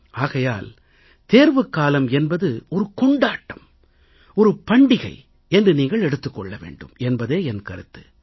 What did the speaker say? ஆகையால் தேர்வுக்காலம் என்பது ஒரு கொண்டாட்டம் ஒரு பண்டிகை என்று நீங்கள் எடுத்துக் கொள்ள வேண்டும் என்பதே என் கருத்து